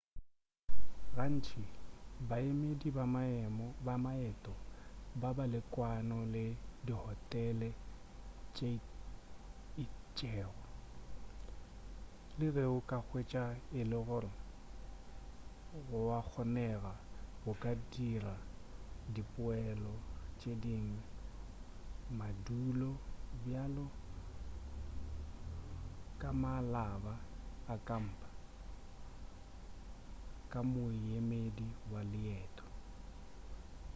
gantši baemedi ba maeto ba ba le kwano le dihotele tše itšego le ge o ka hwetša e le gore go a kgonega go ka dira dipeelo tše dingwe madulo bjalo ka mabala a kampa ka moemedi wa leeteo